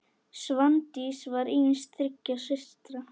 Svandís var yngst þriggja systra.